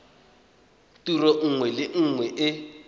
tiro nngwe le nngwe e